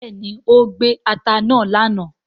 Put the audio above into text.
béèni o gbé atá náa lànà.